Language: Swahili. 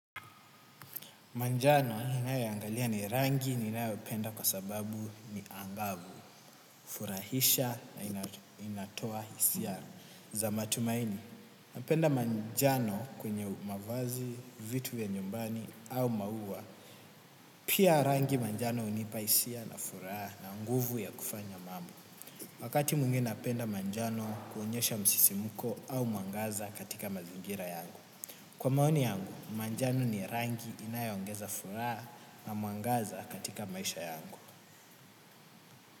Manjano ni rangi ninayopenda kwa sababu ni angavu, furahisha na inatoa hisia za matumaini, napenda manjano kwenye mavazi, vitu ya nyumbani au maua. Pia rangi ya manjano hunipa hisia na furaha na nguvu ya kufanya mamu. Wakati mwingine napenda manjano kuonyesha msisimko au mwaangaza katika mazingira yangu. Kwa maoni yangu, manjano ni rangi inayoongeza furaha na mwangaza katika maisha yangu.